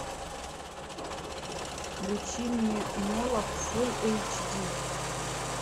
включи мне молох фулл эйч ди